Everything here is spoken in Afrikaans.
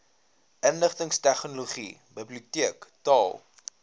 inligtingstegnologie bibioteek taal